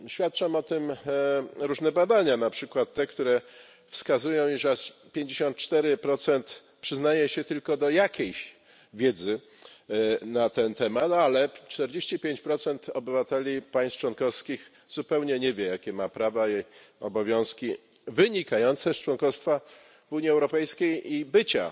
Świadczą o tym różne badania, na przykład te, które wskazują, że aż 54 przyznaje się tylko do jakiejś wiedzy na ten temat, ale 45 obywateli państw członkowskich zupełnie nie wie, jakie ma prawa i obowiązki wynikające z członkostwa w Unii Europejskiej i bycia